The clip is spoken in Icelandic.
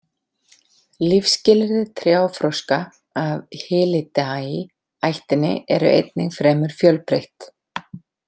Lífsskilyrði trjáfroska af Hylidae ættinni eru einnig fremur fjölbreytt.